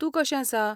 तूं कशें आसा?